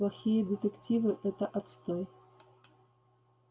плохие детективы это отстой